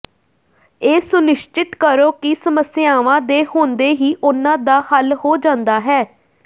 ਇਹ ਸੁਨਿਸ਼ਚਿਤ ਕਰੋ ਕਿ ਸਮੱਸਿਆਵਾਂ ਦੇ ਹੁੰਦੇ ਹੀ ਉਨ੍ਹਾਂ ਦਾ ਹੱਲ ਹੋ ਜਾਂਦਾ ਹੈ